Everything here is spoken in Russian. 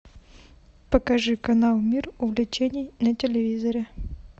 покажи канал мир увлечений на телевизоре